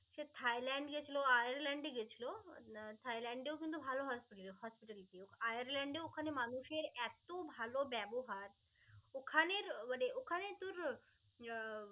সে Thailand গিয়েছিলো, Ireland গিয়েছিলো. থ্যাইল্যান্ডেও কিন্তু ভালো hospital~hospitality আয়ারল্যন্ডের ওখানের মানুষের এত ভাল ব্যবহার, ওখানের মানে ওখানে তোর আহ